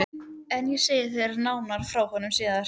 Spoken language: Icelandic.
En ég segi þér nánar frá honum síðar.